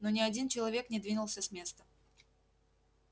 но ни один человек не двинулся с места